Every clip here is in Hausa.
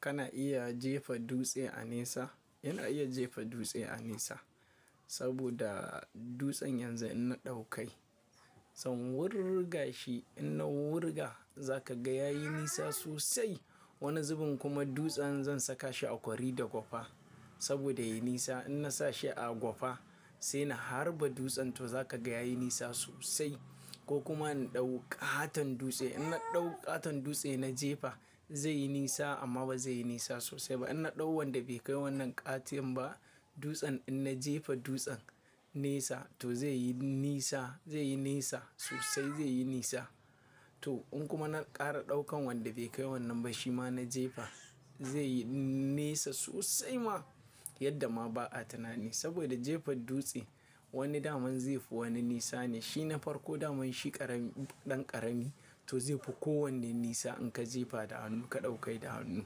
Kana iya jefa dutse a nesa? Ina iya jefa dutse a nesa, saboda dutsen yanzu in na ɗauka shi, zan wurga shi. In na wurga, za ka ga ya yi nesa sosai. Wani zubin kuma dutsen, zan saka shi a kwari da gwafa. Saboda ya yi nesa. In na sa shi a gwafa, sai na harba dutsen to za ka ga ya yi nesa sosai. Ko kuma in ɗau ƙaton dutse, in na ɗau ƙaton dutse na jefa zai yi nesa amma ba zai yi nesa sosai ba. In na ɗau wanda bai kai wannan ƙatin ba, dutsen in na jefa dutsen nesa to zai yi nesa, zai yi nesa sosai zai yi nesa. To in kuma na ƙara ɗaukan wanda bai kai wannan ba shi ma na jefa, zai yi nesa sosai ma. Yadda ma ba a tunani. Saboda jefa dutse, wani daman zai fi wani nesa ne. Shi na farko daman shi ƙarami ɗan ƙarami, to zai fi kowanne nesa in ka jefa da hannu ka ɗauka da hannu.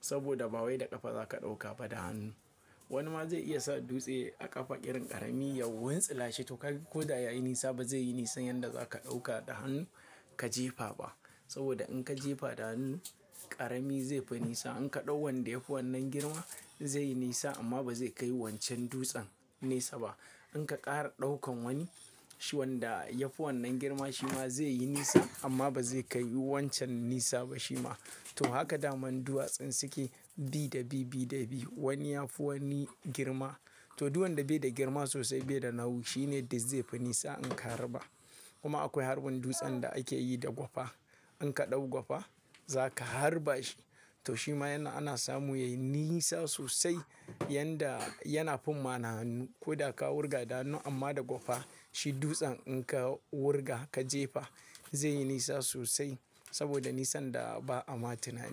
Saboda ba wai da ƙafa za ka ɗauka ba da hannu. Wani ma zai iya sa dutse a ƙafa ƙirin ƙarami ya wuwantsila shi, to ko da ya yi nesa ba zai yi nisan yanda za ka ɗauka da hannu, ka jefa ba. Saboda in ka jefa da hannu, ƙarami zai fi nesa. In ka ɗau wanda ya fi wannan girma, zai yi nesa amma ba zai kai wancan dutsen, nesa ba. In ka ƙara ɗaukan wani, shi wanda ya fi wannan girma shi ma zai yi nesa amma ba zai kai wancan nesa ba shi ma. To haka daman duwatsun suke, bi da bi, bi da bi. Wani ya fi wani girma, to duwan da bai da girma sosai bai da nauyi shi ne da zai fi nesa in ka harba. Kuma akwai harbin dutsen da ake yi da gwafa. In ka ɗau gwafa za ka harba shi to shi ma yana ana samu ya yi nesa sosai yanda, yana fim ma na hannu. Ko da ka wurga da hannu amma da gwafa, shi dutsen in ka wurga ka jefa zai yi nesa sosai saboda nisan da ba a ma tunani.